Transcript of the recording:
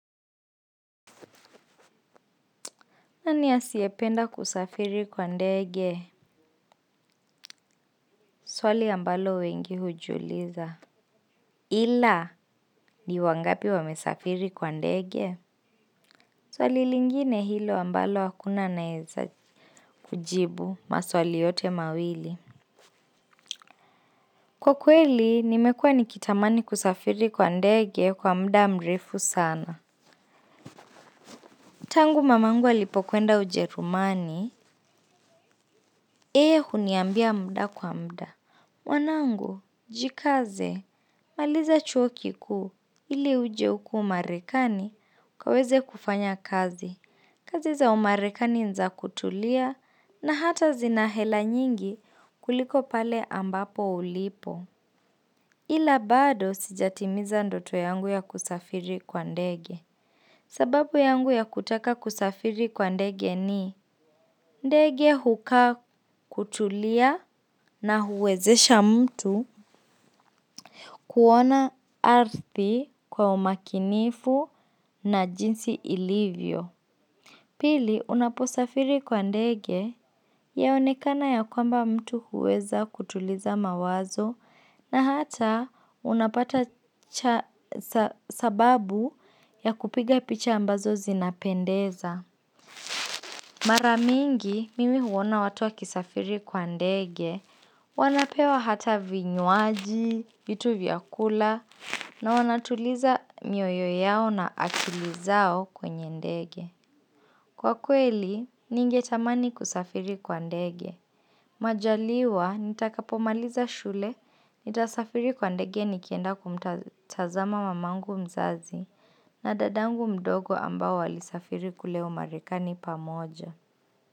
Nani asiyependa kusafiri kwa ndege swali ambalo wengi hujiuliza. Ila ni wangapi wamesafiri kwa ndege swali lingine hilo ambalo hakuna anayeweza kujibu maswali yote mawili. Kwa kweli nimekua nikitamani kusafiri kwa ndege kwa muda mrefu sana. Tangu mamangu alipokwenda ujerumani, yeye huniambia muda kwa muda. Wanangu, jikaze, maliza chuo kikuu ili uje huku marekani ukaweze kufanya kazi. Kazi za umarekani ni za kutulia na hata zina hela nyingi kuliko pale ambapo ulipo. Ila bado sijatimiza ndoto yangu ya kusafiri kwa ndege. Sababu yangu ya kutaka kusafiri kwa ndege ni ndege hukaa kutulia na huwezesha mtu kuona ardhi kwa umakinifu na jinsi ilivyo. Pili, unaposafiri kwa ndege, yaonekana ya kwamba mtu huweza kutuliza mawazo na hata unapata sababu ya kupiga picha ambazo zinapendeza. Mara mingi, mimi huona watu wakisafiri kwa ndege, wanapewa hata vinywaji, vitu vya kula, na wanatuliza mioyo yao na akili zao kwenye ndege. Kwa kweli, ningetamani kusafiri kwa ndege. Majaliwa, nitakapomaliza shule, nitasafiri kwa ndege nikienda kumtazama mamangu mzazi, na dadangu mdogo ambao walisafiri kule umarekani pamoja.